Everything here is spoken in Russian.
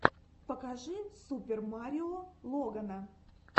покажи супер марио логана